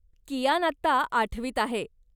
कियान आता आठवीत आहे